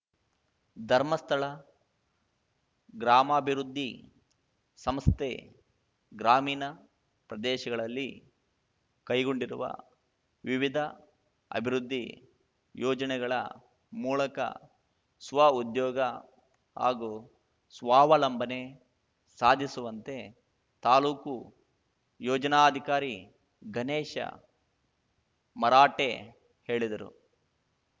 ಧರ್ಮಸ್ಥಳ ಗ್ರಾಮಾಭಿವೃದ್ಧಿ ಸಂಸ್ಥೆ ಗ್ರಾಮೀಣ ಪ್ರದೇಶಗಳಲ್ಲಿ ಕೈಗೊಂಡಿರುವ ವಿವಿಧ ಅಭಿವೃದ್ದಿ ಯೋಜನೆಗಳ ಮೂಳಕ ಸ್ವ ಉದ್ಯೋಗ ಹಾಗೂ ಸ್ವಾವಲಂಬನೆ ಸಾಧಿಸುವಂತೆ ತಾಲೂಕು ಯೋಜನಾಧಿಕಾರಿ ಗಣೇಶ ಮರಾಠೆ ಹೇಳಿದರು